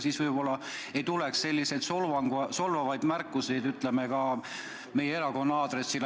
Siis võib-olla ei tuleks selliseid solvavaid märkusi meie erakonna aadressil.